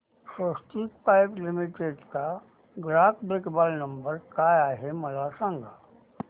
स्वस्तिक pipe limited चा ग्राहक देखभाल नंबर काय आहे मला सांगा